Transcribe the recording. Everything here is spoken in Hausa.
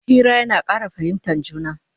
Hira yana Ƙara fahimtan juna